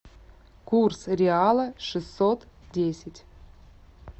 курс реала шестьсот десять